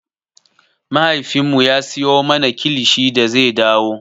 Mahaifinmu ya siyo mana kilishi da zai dawo.